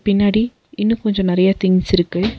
பின்னாடி இன்னு கொஞ்சோ நெறைய திங்ஸ் இருக்கு.